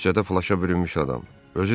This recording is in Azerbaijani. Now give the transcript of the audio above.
Orda küçədə flaşa bürünmüş adam.